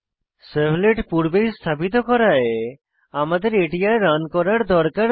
servlet পূর্বেই স্থাপিত করায় আমাদের এটি আর রান করার দরকার নেই